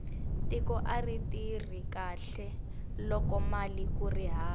tiko ari tirhi kahle lokomali kuri hava